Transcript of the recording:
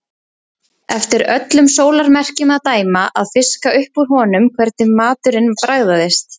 Eftir öllum sólarmerkjum að dæma að fiska upp úr honum hvernig maturinn bragðaðist.